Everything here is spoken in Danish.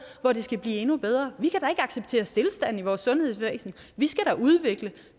hvor det skal blive endnu bedre vi acceptere stilstand i vores sundhedsvæsen vi skal da udvikle